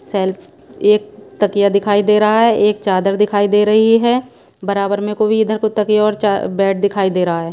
Self एक तकिया दिखाई दे रहा हैं एक चादर दिखाई दे रही हैं बराबर में को भी इधर को तकिया और चा बेड दिखाई दे रहा हैं।